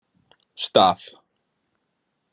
Stað